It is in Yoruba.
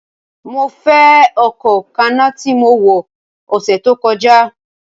Mo nfe ọkọ kanna ti mo wọ ọsẹ to kọja!